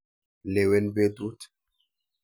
Lewen petut.